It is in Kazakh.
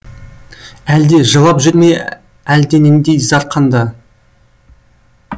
әлде жылап жүр ме әлденендей зар қанда